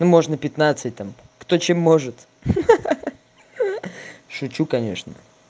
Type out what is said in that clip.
ну можно пятнадцать там кто чем может ха-ха шучу конечно